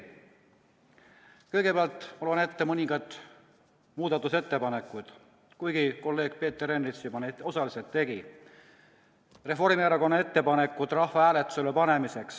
Ma loen ette mõningad Reformierakonna muudatusettepanekud, kuigi kolleeg Peeter Ernits seda juba osaliselt tegi.